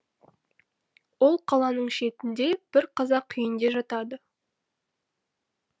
ол қаланың шетінде бір қазақ үйінде жатады